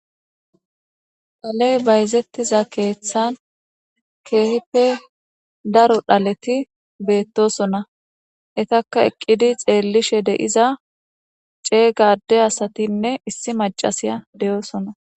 Dhalley bayzettiza keththan kehippe daaro dhaleti bettossona ettaka eqqidi xellishe deiza ceega adde asatinne issi maccasiya deossona.